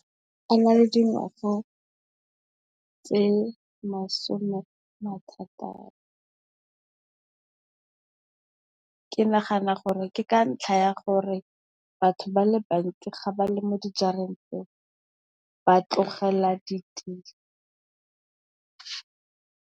A na le dingwaga tse masomethataro, ke nagana gore ke ka ntlha ya gore batho ba le bantsi ga ba le mo dijareng tseo ba tlogela ditiro.